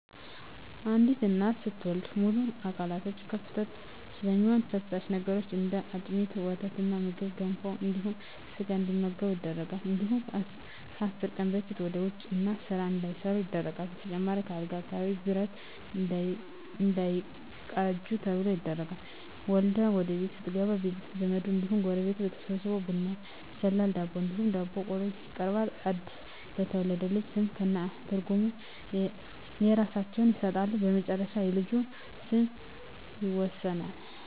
አንዲት እናት ስትወልድ ሙሉ አካላቶች ክፍት ስለሚሆኑ ፈሳሽ ነገሮች እንደ አጥሚት: ወተትና ምግብ ገንፎ እንዲሁም ስጋ እንዲመገቡ ይደረጋል እንዲሁም ከአስር ቀን በፊት ወደ ውጭ እና ስራ እንዳትሠራ ይደረጋል በተጨማሪም ከአልጋ አካባቢ ብረት እንዳይቃጁ ተብሎ ይደረጋል። ወልዳ ወደቤት ስትገባ ቤተዘመድ እንዲሁም ጎረቤት ተሠብስቦ ቡና ይፈላል ዳቦ እንዲሁም ዳቦ ቆሎ ይቀርባል አድስ ለተወለደው ልጅ ስም ከእነ ትርጉም የእየራሳቸውን ይሠጣሉ በመጨረሻ የልጁ ስም ይወሰናል።